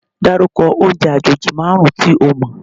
Dárúkọ oúnjẹ àjèjì márùn-ún tí o mọ̀?